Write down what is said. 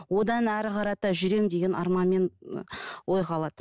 одан әрі қарата жүремін деген арман мен ой қалады